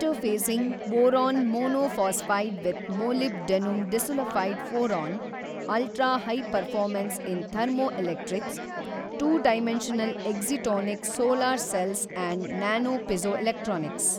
Inter facing boron monophosphide with molybdenum disulfide for an ultrahigh performance in thermoelectrics, two dimensional excitonic solar cells and nanopiezoelectronics.